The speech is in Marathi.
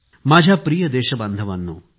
माझ्या प्रिय देशबांधवांनो